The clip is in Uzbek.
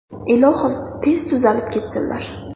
Ilohim, tez tuzalib ketsinlar.